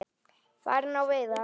Farin á veiðar.